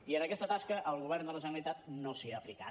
i en aquesta tasca el govern de la generalitat no s’hi ha aplicat